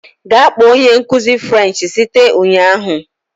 Gaa kpọọ onye nkuzi French site ụnyahụ